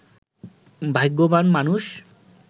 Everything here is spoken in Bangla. ভাগ্যবান মানুষ